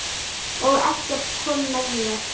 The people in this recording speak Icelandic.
Og Eggert kom með mér.